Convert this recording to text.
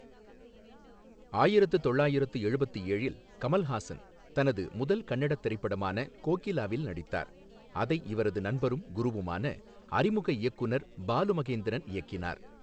ஆயிரத்து தொள்ளாயிரத்து எழுபத்து ஏழில் கமல்ஹாசன் தனது முதல் கன்னடத் திரைப்படமான கோகிலாவில் நடித்தார், அதை இவரது நண்பரும் குருவுமான அறிமுக இயக்குநர் பாலு மகேந்திரன் இயக்கினார்.